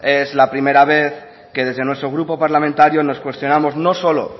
es la primera vez que desde nuestro grupo parlamentario nos cuestionamos o solo